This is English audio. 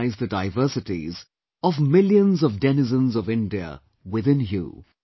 Internalize the diversities of millions of denizens of India within you